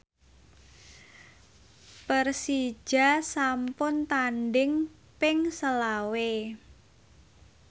Persija sampun tandhing ping selawe